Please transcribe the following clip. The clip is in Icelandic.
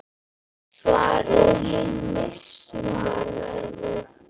Svaraðu því!